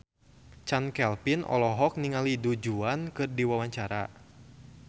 Chand Kelvin olohok ningali Du Juan keur diwawancara